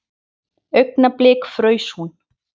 Augnablik fraus hún.